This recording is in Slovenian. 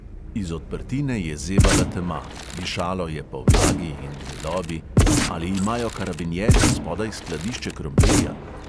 Iz odprtine je zevala tema, dišalo je po vlagi in gnilobi, ali imajo karabinjerji spodaj skladišče krompirja?